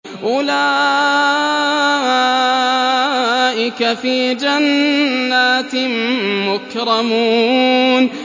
أُولَٰئِكَ فِي جَنَّاتٍ مُّكْرَمُونَ